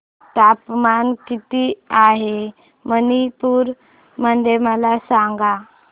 तापमान किती आहे मणिपुर मध्ये मला सांगा